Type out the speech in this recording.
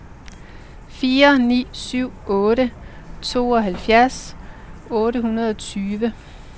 fire ni syv otte tooghalvfjerds otte hundrede og tyve